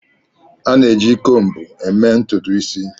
A na-eji combo eme ututu isi